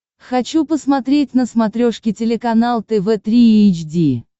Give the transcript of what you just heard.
хочу посмотреть на смотрешке телеканал тв три эйч ди